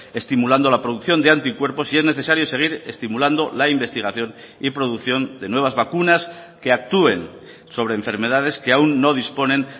estimulando la producción de anticuerpos y es necesario seguir estimulando la investigación y producción de nuevas vacunas que actúen sobre enfermedades que aún no disponen